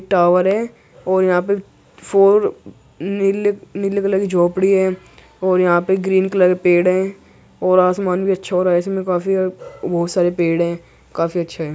Tower है और यहाँ पे फोर नील नीले कलर की झोपड़ी है और यहाँ पे ग्रीन कलर पेड़ हैं और आसमान भी अच्छा हो रहा है। इसमें काफी सारे बहोत सारे पड़े हैं काफी अच्छे हैं।